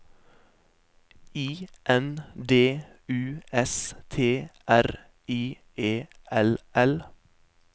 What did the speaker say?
I N D U S T R I E L L